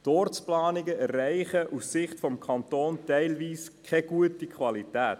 Die Ortsplanungen erreichen aus Sicht des Kantons teilweise keine gute Qualität.